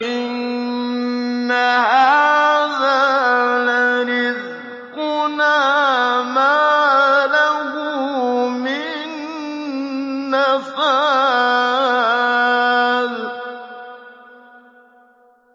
إِنَّ هَٰذَا لَرِزْقُنَا مَا لَهُ مِن نَّفَادٍ